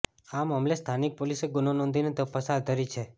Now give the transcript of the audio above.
આ મામલે સ્થાનિક પોલીસે ગુનો નોઁધીને તપાસ હાથ ધરી છે